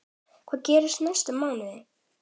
Hvað gerist næstu mánuði?